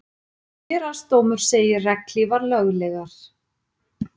Héraðsdómur segir regnhlífar löglegar